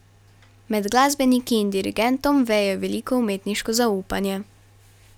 Med glasbeniki in dirigentom veje veliko umetniško zaupanje.